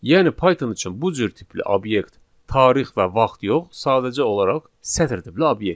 Yəni Python üçün bu cür tipli obyekt tarix və vaxt yox, sadəcə olaraq sətr tipli obyekt.